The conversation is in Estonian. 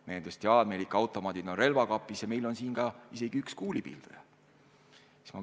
Mehed ütlesid, et meil on automaadid relvakapis ja isegi üks kuulipilduja.